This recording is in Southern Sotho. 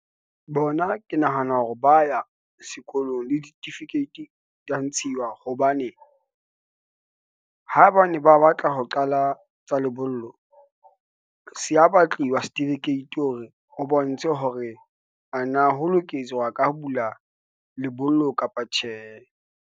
Bona ke nahana hore ba ya sekolong, le ditifikeiti dia ntshiwa hobane ha bane ba batla ho qala tsa lebollo, se ya batliwa certificate hore o bontshe hore ana ho lokiswa ka bula lebollo kapa tjhe.